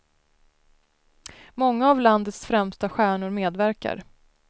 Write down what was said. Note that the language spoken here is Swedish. Många av landets främsta stjärnor medverkar.